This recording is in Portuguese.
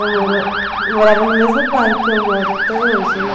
Eu morava no mesmo bairro que eu moro até hoje, né?